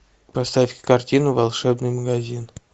поставь картину волшебный магазин